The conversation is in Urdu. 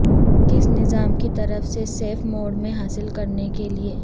کس نظام کی طرف سے سیف موڈ میں حاصل کرنے کے لئے